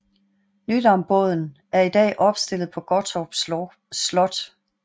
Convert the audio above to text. Nydambåden er i dag opstillet på Gottorp Slot